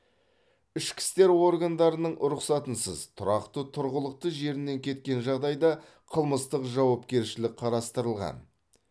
ішкі істер органдарының рұқсатынсыз тұрақты тұрғылықты жерінен кеткен жағдайда қылмыстық жауапкершілік қарастырылған